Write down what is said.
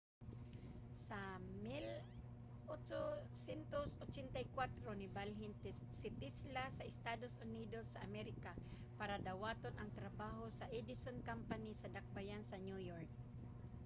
sa 1884 nibalhin si tesla sa estados unidos sa amerika para dawaton ang trabaho sa edison company sa dakbayan sa new york